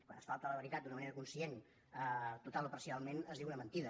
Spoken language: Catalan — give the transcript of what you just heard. quan es falta a la veritat d’una manera conscient totalment o parcialment es diu una mentida